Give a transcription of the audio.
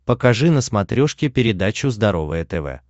покажи на смотрешке передачу здоровое тв